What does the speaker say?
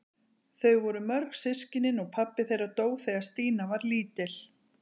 Þau voru mörg systkinin og pabbi þeirra dó þegar Stína var lítil.